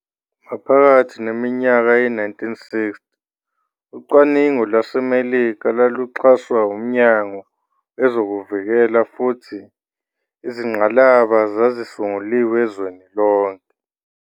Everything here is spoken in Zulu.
Maphakathi neminyaka ye-1960, ucwaningo kwelaseMelika lwaluxhaswa uMnyango wezokuVikela futhi izingqalaba zazisunguliwe ezweni lonke.